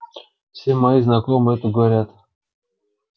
все мои знакомые это говорят